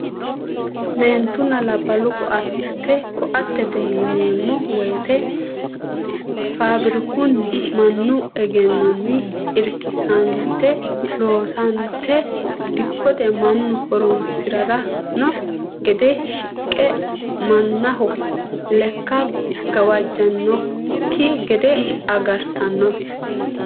Meentunna laballu koate, koatete yineemo woyite fabirakunni manu eggenonni irikisante loosante dikkote manu horonsirano gede shiqe manaho leka gawajantanokki gede agaritano